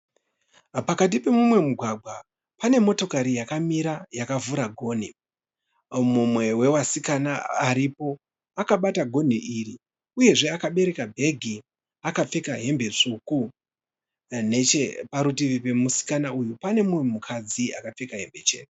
Pakati pemumwe mugwagwa pane motokari yakamira yakavhura gonhi. Mumwe wevasikana aripo akabata gonhi iri uyezve akabereka bhegi akapfeka hembe tsvuku. Necheparutivi pemusikana uyu pane umwe mukadzi akapfeka hembe chena.